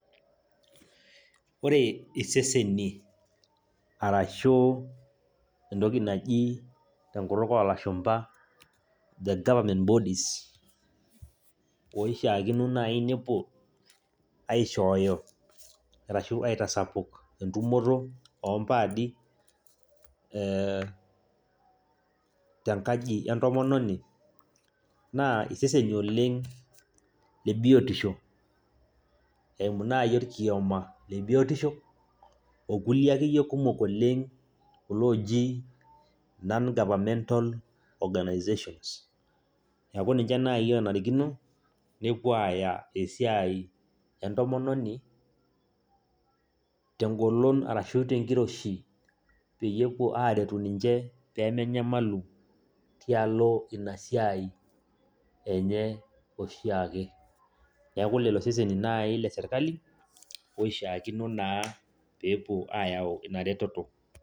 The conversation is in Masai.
Ore iseseni arashuu, entoki naji tenkut oo lashumba the government bodies oishaakino naaji nepuo aishooyo arashu aitasapuk entumoto oo mpaadi, ee tenkaji entomononi, naa iseseni oleng' lebiotisho eiumu naayi olkioma lebiotisho okulie akeyie kumok oleng' kulo ooji non-governmental organisations neeku ninje naaji oonarikino nepuo aaya esiai entomononi tengolon arashu tenkiroshie pee puo aaretu ninje pemenyamalu tialo ina siai enye oshiake. Neeku lelo seseni naayi le sirkali oshiakino naa peepuo naa aayau ina reteto.